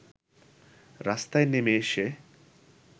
রাস্তায় নেমে এসে